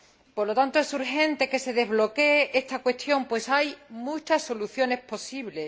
Por lo tanto, es urgente que se desbloquee esta cuestión, pues hay muchas soluciones posibles.